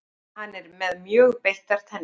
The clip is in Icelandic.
Hann er með mjög beittar tennur.